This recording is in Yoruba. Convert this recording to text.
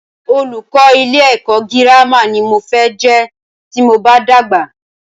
Olùkọ́ ilé ẹ̀kọ́ gírámà ní mo fẹ́ jẹ́ tí mo bá dàgbà.